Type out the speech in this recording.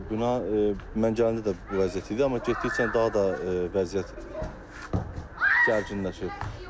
Bina mən gələndə də bu vəziyyət idi, amma getdikcə daha da vəziyyət gərginləşir.